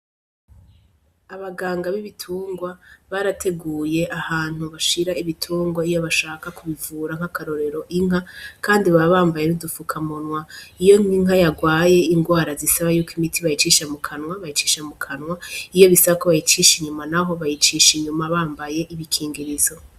Abaganga b'ibitungwa barateguye ahantu bashira ibitungwa iyo bashaka kubivura nk'akarorero inka, kandi ba bambaye nodufuka munwa iyo nkinka yagwaye ingwara zisaba yuko imiti bayicisha mu kanwa bayicisha mu kanwa iyo bisako bayicisha inyuma, naho bayicisha inyuma bambaye ibikingirizo.